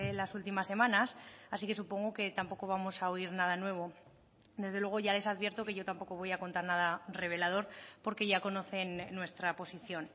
las últimas semanas así que supongo que tampoco vamos a oír nada nuevo desde luego ya les advierto que yo tampoco voy a contar nada revelador porque ya conocen nuestra posición